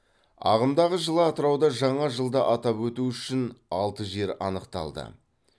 ағымдағы жылы атырауда жаңа жылды атап өту үшін алты жер анықталды